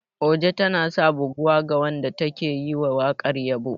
Oja tanasa buguwa ga wanda take yiwa wakar yabo.